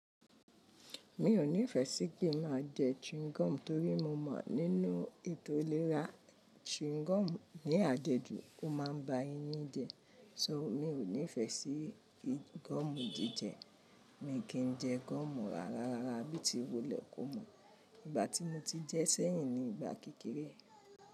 Mi ò ní ìfẹ́ sí kí n máa jẹ chewing gum torí mo mọ̀ nínú ètò ìlera, chewing gum ní àjẹjù ó máa ń ba eyín jẹ. So mi ò ní ìfẹ́ sí gọ́mù jíjẹ. Mi kì í jẹ gọ́mù rárá, rárá bíi ti wulẹ̀ kó mọ̀. Ìgbà tí mo ti jẹ sẹ́yìn ni ìgbà kékeré.